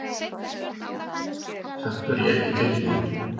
Samt var ég ekki tilbúinn.